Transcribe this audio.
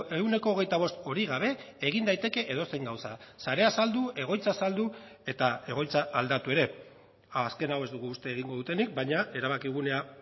ehuneko hogeita bost hori gabe egin daiteke edozein gauza sarea saldu egoitza saldu eta egoitza aldatu ere azken hau ez dugu uste egingo dutenik baina erabakigunea